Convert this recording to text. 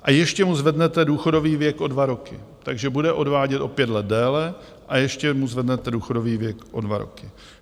A ještě mu zvednete důchodový věk o dva roky, takže bude odvádět o pět let déle a ještě mu zvednete důchodový věk o dva roky.